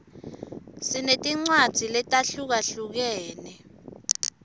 sinetincwadzi letahlukahlukene